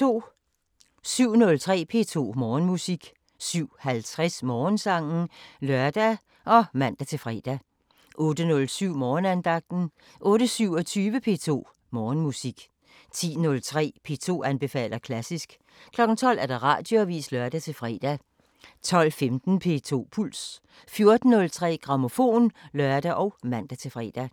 07:03: P2 Morgenmusik 07:50: Morgensangen (lør og man-fre) 08:07: Morgenandagten 08:27: P2 Morgenmusik 10:03: P2 anbefaler klassisk 12:00: Radioavisen (lør-fre) 12:15: P2 Puls 14:03: Grammofon (lør og man-fre)